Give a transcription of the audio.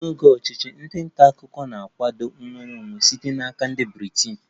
N'oge ọchịchị, ndị nta akụkọ na-akwado nnwere onwe site n'aka ndị Britain